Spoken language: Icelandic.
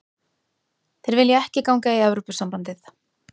Þeir vilja ekki ganga í Evrópusambandið